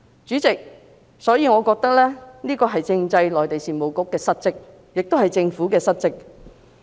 主席，我覺得這是政制及內地事務局的失職，亦都是政府的失職。